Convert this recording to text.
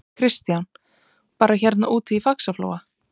Kristján: Bara hérna úti í Faxaflóa?